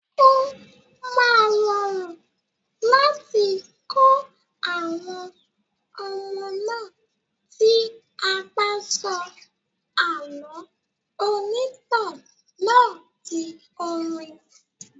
Ó máa rọrùn láti kọ àwọn ọmọ náà tí a bá sọ àlọ́ ìrìntàn náà di orin.